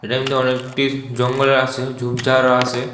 এমনি অনেকটি জঙ্গলও আসে ঝুপঝাড়ও আসে ।